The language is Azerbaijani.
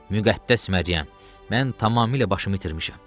Müqəddəs Məryəm, mən tamamilə başımı itirmişəm.